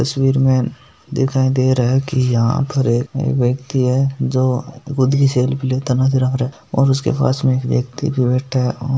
तस्वीर में दिखाई दे रहा है की यहाँ पर एक व्यक्ति है जो खुद ही सेल्फी लेते नज़र आ रहा है और उसपे पास मे एक व्यक्ति भी बैठा है।